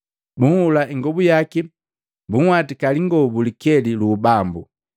Bunhula ingobu yaki, bunhuwatika lingobu likeli lu ubambu.